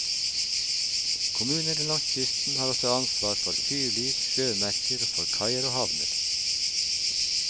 Kommunene langs kysten har også ansvar for fyrlys, sjømerker, og for kaier og havner.